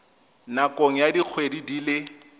nakong ya dikgwedi di le